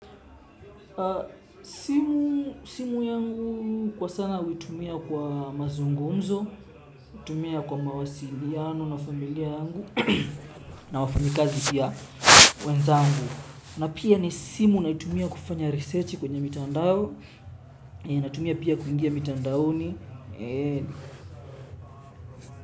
Simu yangu kwa sana uitumia kwa mazungunzo, utumia kwa mawasiliano na familia yangu, na wafanyikazi pia wenzangu. Na pia ni simu naitumia kufanya research kwenye mitandao, naitumia pia kuingia mitandaoni.